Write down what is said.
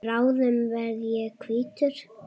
Bráðum verð ég hvítur.